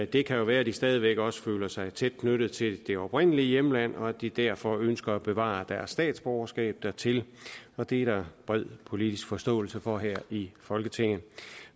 det kan jo være at de stadig væk også føler sig tæt knyttet til det oprindelige hjemland og at de derfor ønsker at bevare deres statsborgerskab dertil det er der bred politisk forståelse for her i folketinget